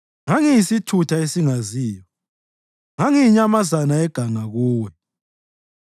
ngangiyisithutha esingaziyo; ngangiyinyamazana yeganga kuwe.